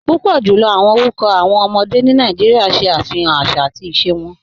Púpọ̀ jùlọ̀ orúkọ̀ awọn ọmọdé ni Nàìjíríà ṣẹ afihàn àṣà àti ìṣẹ̀ wọn